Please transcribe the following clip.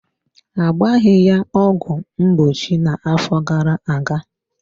Ha agbaghi ya ọgwụ mgbochi na-afọ gara-aga.